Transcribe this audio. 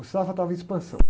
O Safra estava em expansão.